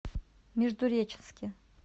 междуреченске